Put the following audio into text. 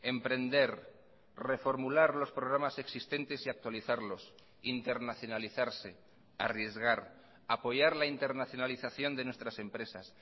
emprender reformular los programas existentes y actualizarlos internacionalizarse arriesgar apoyar la internacionalización de nuestras empresas